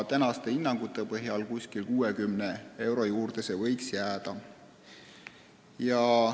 Esialgsete hinnangute põhjal võiks see tasu olla umbes 60 eurot.